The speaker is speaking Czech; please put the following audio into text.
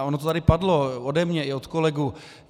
A ono to tady padlo ode mě i od kolegů.